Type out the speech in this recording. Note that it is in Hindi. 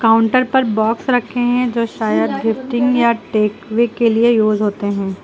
काउंटर पर बॉक्स रखे हैं जो शायद गिफ्टिंग या टेकवे के लिए यूज होते हैं।